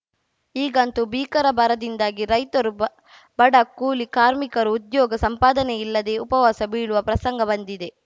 ಈಗಂತೂ ಭೀಕರ ಬರದಿಂದಾಗಿ ರೈತರು ಬ ಬಡ ಕೂಲಿ ಕಾರ್ಮಿಕರು ಉದ್ಯೋಗ ಸಂಪಾದನೆಯಿಲ್ಲದೆ ಉಪವಾಸ ಬೀಳುವ ಪ್ರಸಂಗ ಬಂದಿದೆ